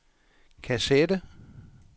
kassette